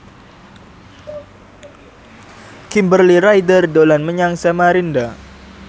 Kimberly Ryder dolan menyang Samarinda